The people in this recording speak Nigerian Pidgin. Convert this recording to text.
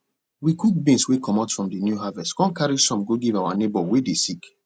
we cook beans wey comot from de new harvest come carry some go give our neighbor wey dey sick